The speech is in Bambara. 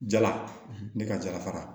Jala ne ka jara